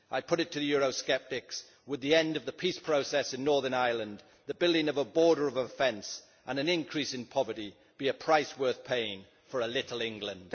I put it to the Eurosceptics would the end of the peace process in Northern Ireland, the building of a border fence and an increase in poverty be a price worth paying for a little England?